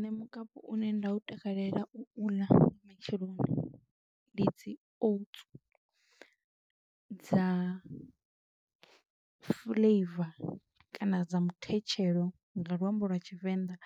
Nṋe mukapu une nda u takalela u ḽa nga matsheloni, ndi dzi oats dza fuḽeiva kana dza muthetshelo nga luambo lwa tshivenḓa,